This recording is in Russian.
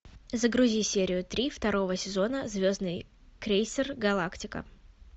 загрузи серию три второго сезона звездный крейсер галактика